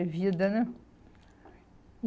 vida, né? E